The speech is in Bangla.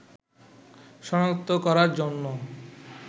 শনাক্ত করার জন্য